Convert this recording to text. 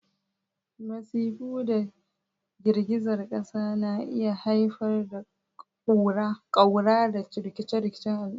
Masifu da girgizar ƙasa na iya haifar da ƙaura da rikicin al'umma.